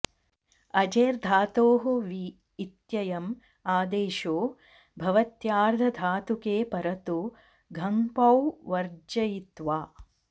अजेर् धातोः वी इत्ययम् आदेशो भवत्यार्धधातुके परतो घञपौ वर्जयित्वा